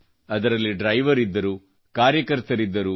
ಅದರಲ್ಲಿ ಡ್ರೈವರ್ಗಳಿದ್ದರು ಕಾರ್ಯಕರ್ತರೂ ಇದ್ದರು